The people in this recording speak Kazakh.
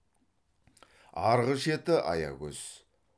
арғы шеті аягөз